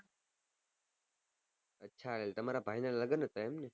હા એમ તમારા ભાઈ ના લગન હતા એમ